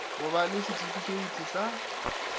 go ba le setifikheiti sa